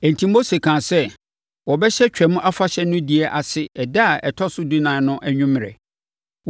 Enti Mose kaa sɛ, wɔbɛhyɛ Twam Afahyɛ no die ase ɛda a ɛtɔ so dunan no anwummerɛ